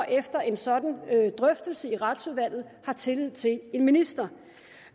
efter en sådan drøftelse i retsudvalget har tillid til en minister